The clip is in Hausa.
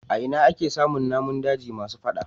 A ina ake samun namun daji masu fada.